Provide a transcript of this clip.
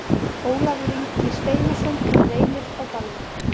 Ólafur Ingi Steinarsson Reynir Á Dalvík